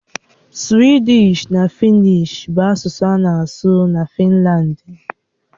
Suwịdịsh na Fịnnịsh bụ asụsụ a na-asụ na Finlandi.